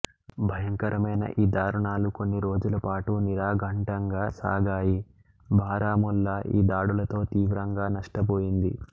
భయంకరమైన ఈ దారుణాలు కొన్నిరోజుల పాటు నిరాఘంటంగా సాగాయి బారాముల్లా ఈ దాడులతో తీవ్రంగా నష్టపోయింది